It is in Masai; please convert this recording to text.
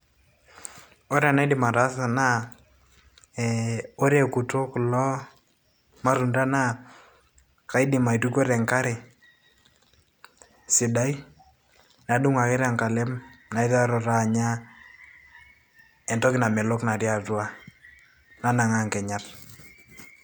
ore enaidim ataasa naa ee ore ekuto kulo matunda naa kaidim aitukuo tenkare sidai nadung ake tenkalem naiteru taa anya entoki namelok natii atua nanang'aa nkinyat.